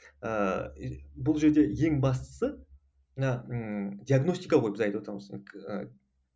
ыыы бұл жерде ең бастысы ыыы ммм диагностика ғой біз